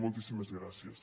moltíssimes gràcies